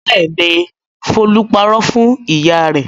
Bẹ́ẹ̀ ni, Folú parọ́ fún ìyá rẹ̀.